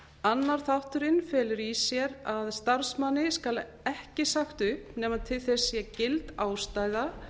annar þátturinn felur í sér að starfsmanni skal ekki sagt upp nema til þess sé gild ástæða